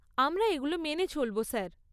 আমরা এগুলো মেনে চলব স্যার।